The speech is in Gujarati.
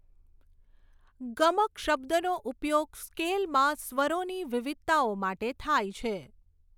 ગમક શબ્દનો ઉપયોગ સ્કેલમાં સ્વરોની વિવિધતાઓ માટે થાય છે.